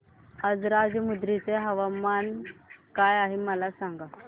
आज राजमुंद्री चे तापमान काय आहे मला सांगा